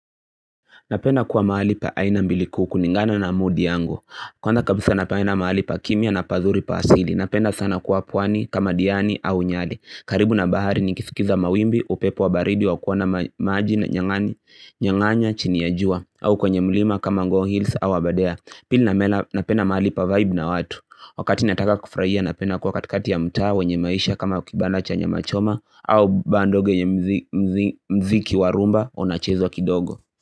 Napenda kuwa mahali pa aina mbili kulingana na mood yangu. Kwanza kabisa napenda mahali pa kimya na pazuri pa asili. Napenda sana kuwa pwani kama diani au nyali. Karibu na bahari nikisikiza mawimbi upepo wa baridi wa kuona maji na nyanganya chini ya jua. Au kwenye mlima kama Ngong Hills au Aberdare. Pili na mela napenda mahali pa vibe na watu. Wakati nataka kufurahia napenda kuwa katikati ya mtaa wenye maisha kama kibanda cha nyama choma. Au baa ndogo yenye mziki wa rumba unachezwa kidogo Muzika.